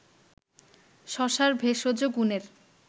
শশার ভেষজ গুনের